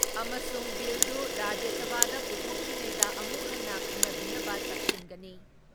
ꯑꯃꯁꯨꯡ ꯕꯤꯜ ꯗꯨ ꯔꯥꯖ꯭ꯌ ꯁꯚꯥꯗ ꯄꯨꯊꯣꯛꯇ꯭ꯔꯤꯉꯩꯗ ꯑꯃꯨꯛ ꯍꯟꯅ ꯈꯟꯅꯕꯤꯅꯕ ꯇꯛꯁꯤꯟꯒꯅꯤ ꯫